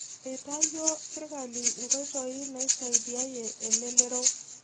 Etayuo sirkali inkoitoi naisaidiayie elelero